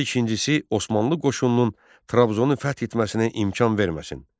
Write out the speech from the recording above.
Və ikincisi Osmanlı qoşunlarının Trabzonu fəth etməsinə imkan verməsin.